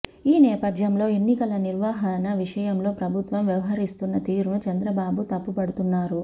ఈ నేపథ్యంలో ఎన్నికల నిర్వహణ విషయంలో ప్రభుత్వం వ్యవహరిస్తున్న తీరును చంద్రబాబు తప్పుబడుతున్నారు